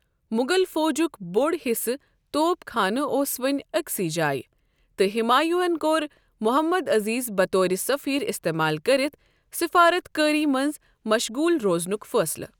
مغل فوجُک بوٚڈ حصہٕ توپ خانہٕ اوس وۄنہِ أكۍ سٕے جایہ، تہٕ ہمایوں ہن کوٚر محمد عزیز بطورِ سفیر استعمال كٔرِتھ سفارت کٲری منٛز مشغول روزنُک فٲصلہٕ۔